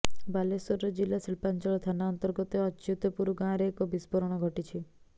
ବାଲେଶ୍ୱର ଜିଲ୍ଲା ଶିଳ୍ପାଞ୍ଚଳ ଥାନା ଅନ୍ତର୍ଗତ ଅଚ୍ୟୁତପୁର ଗାଁରେ ଏକ ବିସ୍ଫୋରଣ ଘଟିଛି